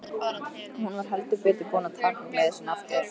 Hún var heldur betur búin að taka gleði sína aftur.